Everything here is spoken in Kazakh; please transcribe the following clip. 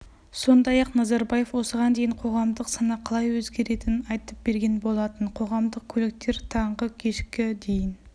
сондай-ақ назарбаев осыған дейін қоғамдық сана қалай өзгеретінін айтып берген болатын қоғамдық көліктер таңғы кешкі дейін